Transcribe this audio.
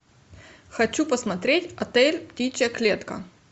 хочу посмотреть отель птичья клетка